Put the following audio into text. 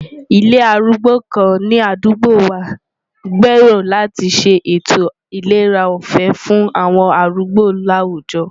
Ilé arúgbó kan ní àdúgbò wa n gbèrò láti ṣe ètò ìlera ọ̀fẹ́ fún àwọn arúgbó láwùjọ.